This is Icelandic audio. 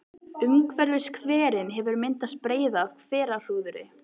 Umhverfis hverinn hefur myndast breiða af hverahrúðri.